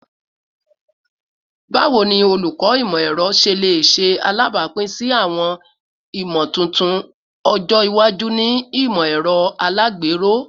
Bawo ni Olukọ Imọ-ẹrọ ṣe le ṣe alabapin si awọn imotuntun ọjọ iwaju ni imọ-ẹrọ alagbero?